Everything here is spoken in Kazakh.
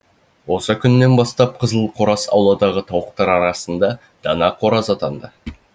осы күннен бастап қызыл қораз ауладағы тауықтар арасында дана қораз атанды